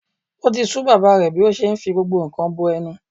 O ti sú bàbá rẹ̀ bí ó ṣe ń fi gbogbo nǹkan bọ ẹnu.